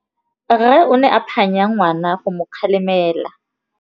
Rre o ne a phanya ngwana go mo galemela.